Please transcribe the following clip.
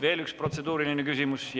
Veel üks protseduuriline küsimus.